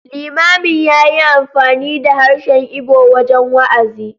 Limamin ya yi amfani da harshen Igbo wajen wa’azi.